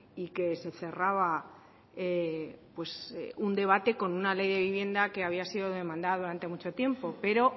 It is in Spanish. y que se cerraba un debate con una ley de vivienda que había sido demandado durante mucho tiempo pero